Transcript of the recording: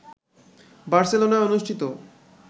বার্সেলোনায় অনুষ্ঠিত